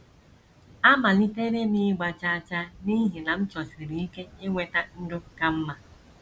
Amalitere m ịgba chaa chaa n’ihi na m chọsiri ike inweta ndụ ka mma.